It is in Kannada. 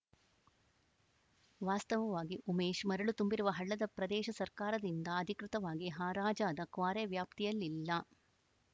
ವಾಸ್ತವವಾಗಿ ಉಮೇಶ್‌ ಮರಳು ತುಂಬಿರುವ ಹಳ್ಳದ ಪ್ರದೇಶ ಸರ್ಕಾರದಿಂದ ಅಧಿಕೃತವಾಗಿ ಹರಾಜಾದ ಕ್ವಾರೆ ವ್ಯಾಪ್ತಿಯಲ್ಲಿಲ್ಲ